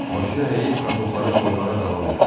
Başını əyib kartofları soymağa davam elədi.